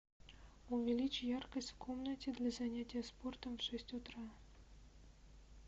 увеличь яркость в комнате для занятия спортом в шесть утра